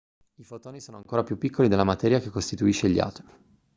i fotoni sono ancora più piccoli della materia che costituisce gli atomi